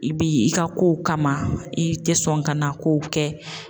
I bi i ka kow kama i te sɔn ka na kow kɛ